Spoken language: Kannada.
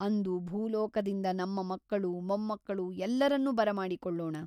ಅಂದು ಭೂಲೋಕದಿಂದ ನಮ್ಮ ಮಕ್ಕಳು ಮೊಮ್ಮಕ್ಕಳು ಎಲ್ಲರನ್ನೂ ಬರಮಾಡಿಕೊಳ್ಳೋಣ.